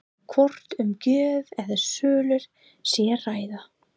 Hvort um gjöf eða sölu sé að ræða?